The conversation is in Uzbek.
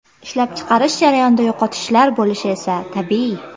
Ishlab chiqarish jarayonida yo‘qotishlar bo‘lishi esa tabiiy.